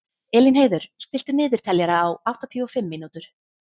Elínheiður, stilltu niðurteljara á áttatíu og fimm mínútur.